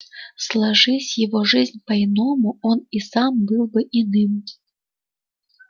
сложись его жизнь по-иному и он сам был бы иным